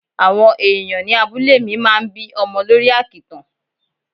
Awon ẹ̀yàn ni abúlé mi máa ń bí ọmọ lórí àkìtàn.